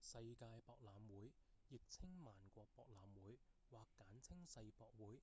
世界博覽會亦稱萬國博覽會或簡稱世博會